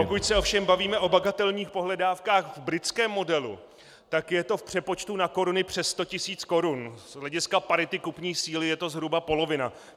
Pokud se ovšem bavíme o bagatelních pohledávkách v britském modelu, tak je to v přepočtu na koruny přes sto tisíc korun, z hlediska parity kupní síly je to zhruba polovina.